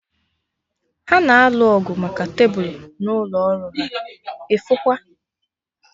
Ha na-alụ ọgụ maka tebụl n'ụlọ ọrụ ha, ịfụkwa!